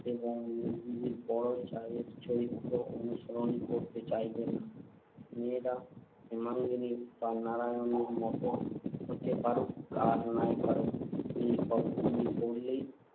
এবং মেজদিদির বড় জায়ের চরিত্র অনুসরণ করতে চাইবে না। মেয়েরা হেমাঙ্গিনী বা নারায়ণীর মতো হতে পারুক আর নাই পারুক, এ গল্পগুলি পড়লেই